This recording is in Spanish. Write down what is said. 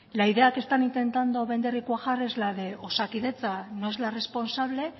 la idea que están intentando vender y cuajar es la de osakidetza no es la responsable